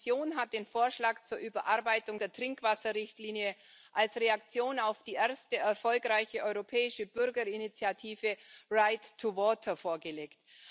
Die Kommission hat den Vorschlag zur Überarbeitung der Trinkwasserrichtlinie als Reaktion auf die erste erfolgreiche europäische Bürgerinitiative vorgelegt.